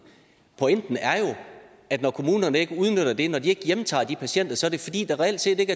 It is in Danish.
pointen er jo at når kommunerne ikke udnytter det når de ikke hjemtager de patienter så er det fordi der reelt set ikke